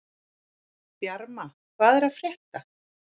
Bjarma, hvað er að frétta?